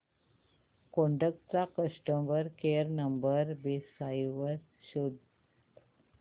Kodak चा customer care number website वर शोध